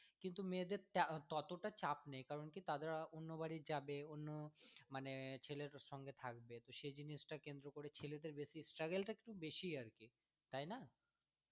কিন্তু মেয়েদের ততটা চাপ নেই কেন কি তারা অন্য বাড়ি যাবে অন্য মানে ছেলের সঙ্গে থাকবে সেই জিনিসটা কেন্দ্র করে ছেলেদের বেশি struggle টা কিন্তু বেশি আর কি তাই না।